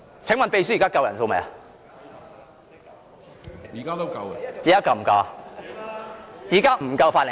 請問秘書，現在是否有足夠法定人數？